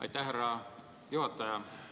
Aitäh, härra juhataja!